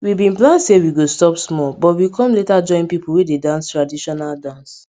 we bin plan say we go stop small but we com later join pipo wey dey dance traditional dance